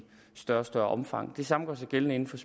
større og større omfang det samme gør sig gældende for